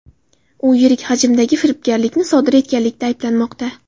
U yirik hajmdagi firibgarlikni sodir etganlikda ayblanmoqda.